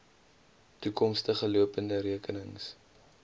toekomstige lopende rekenings